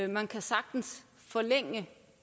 man kan sagtens forlænge